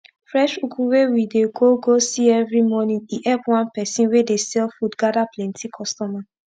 fresh ugu wey we dey go go see everi morning e epp one person wey dey sell food gada plenti customer